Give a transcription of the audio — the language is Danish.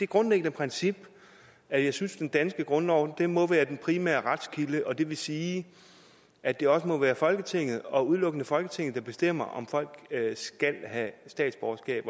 grundlæggende princip at jeg synes at den danske grundlov må være den primære retskilde og det vil sige at det også må være folketinget og udelukkende folketinget der bestemmer om folk skal have statsborgerskab